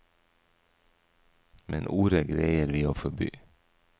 Men ordet greier vi å forby.